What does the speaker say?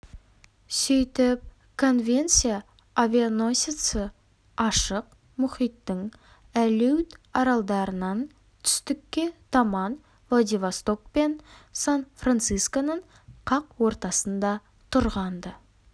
сөйтіп конвенция авианосеці ашық мұхиттың алеут аралдарынан түстікке таман владивосток пен сан-францисконың қақ ортасында тұрған-ды